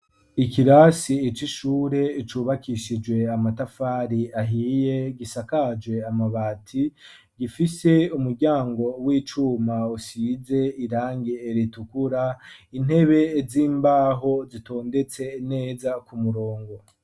Ikirasi c'ishure cubakishijwe amatafari ahiye gisakaje amabati gifise umuryango w'icuma usize irangi ritukura intebe z'imbaho zitondetse neza ku murongo.